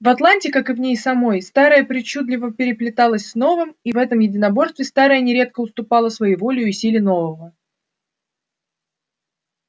в атланте как и в ней самой старое причудливо переплелось с новым и в этом единоборстве старое нередко уступало своеволию и силе нового